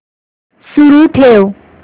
सुरू ठेव